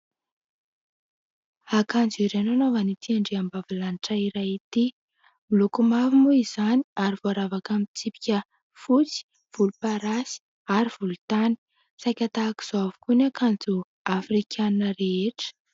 Akanjo iray no anaovan'ity andriambavilantra iray ity, miloko mavo moa izany ary voaravaka amin'ny tsipika fotsy, volomparasy ary volontany. Saika tahaka izao avokoa ny akanjo afrikanina rehetra.